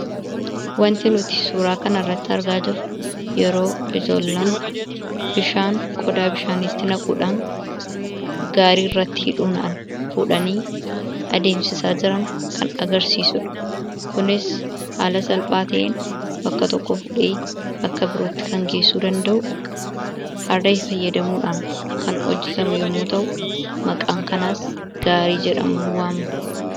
Wanti nuti suuraa kanarratti argaa jirru yeroo ijoolleen bishaan qodaa bishaaniitti naquudhaan gaarii irratti hidhu dhaaan fuudhanii adeemsisaa jiran kan agarsiisudha. Kunis haala salphaan bakka tokko irraa gara biraatti kan geessuu danda’u harree fayyadamuudhaan kan hojjetamu yoo ta’u, maqaan kanaas 'Gaarii' jedhamee waamama.